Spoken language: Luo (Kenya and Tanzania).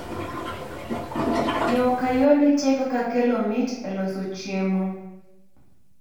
yoo ka yoo nitie kaka kelo mit e loso chiemo